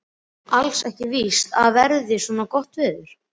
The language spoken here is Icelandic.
Og alls ekki víst að verði svona gott veður.